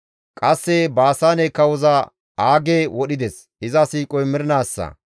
Qasse Baasaane kawoza Aage wodhides; iza siiqoy mernaassa.